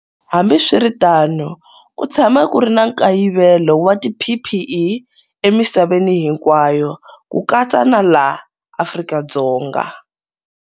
Hambiswiritano, ku tshama ku ri na nkayivelo wa tiPPE emisaveni hinkwayo, ku katsa na le Afrika-Dzonga.